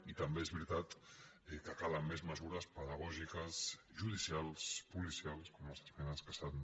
i també és veritat que calen més mesures pedagògiques judi·cials policials com les esmenes que s’han